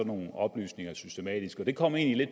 nogle oplysninger systematisk og det kom egentlig